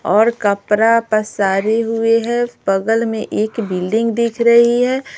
और कपड़ा पसारे हुए हैं बगल में एक बिल्डिंग दिख रही है।